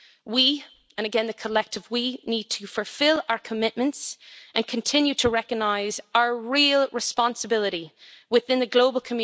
We and again the collective we' need to fulfil our commitments and continue to recognise our real responsibility within the global community and end FGM.